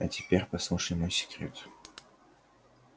а теперь послушай мой секрет